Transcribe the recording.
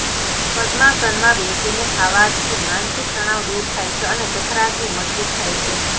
પદ્માસનમાં બેસીને ખાવાથી માનસિક તણાવ દૂર થાય છે અને જઠરાગ્નિ મજબૂત થાય છે